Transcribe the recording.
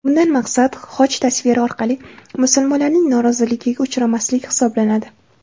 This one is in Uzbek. Bundan maqsad xoch tasviri orqali musulmonlarning noroziligiga uchramaslik hisoblanadi.